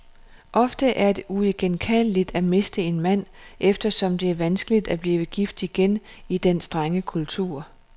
Ofte er det uigenkaldeligt at miste en mand, eftersom det er vanskeligt at blive gift igen i den strenge kultur.